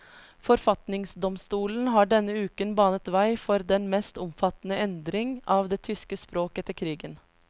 Forfatningsdomstolen har denne uken banet vei for den mest omfattende endring av det tyske språk etter krigen.